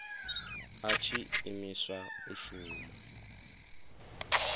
a tshi imiswa u shuma